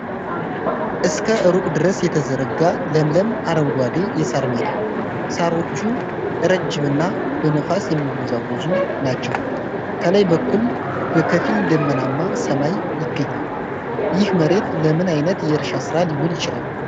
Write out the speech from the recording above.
እስከ ሩቅ ድረስ የተዘረጋ ለምለም አረንጓዴ የሳር ሜዳ። ሳሮቹ ረጅምና በነፋስ የሚወዛወዙ ናቸው። ከላይ በኩል በከፊል ደመናማ ሰማይ ይገኛል። ይህ መሬት ለምን አይነት የእርሻ ሥራ ሊውል ይችላል?